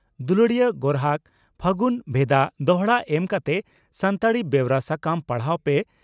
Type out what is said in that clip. ᱫᱩᱞᱟᱹᱲᱤᱭᱟᱹ ᱜᱚᱨᱦᱟᱠ ᱯᱷᱟᱹᱜᱩᱱ ᱵᱷᱮᱫᱟ ᱫᱚᱦᱲᱟ ᱮᱢ ᱠᱟᱛᱮ ᱥᱟᱱᱛᱟᱲᱤ ᱵᱮᱣᱨᱟ ᱥᱟᱠᱟᱢ ᱯᱟᱲᱦᱟᱣ ᱯᱮ